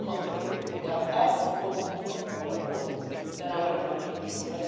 On the contrary, they are as important, if not more important, than our economic interests.